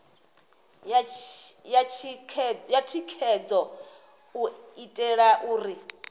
ya thikhedzo u itela uri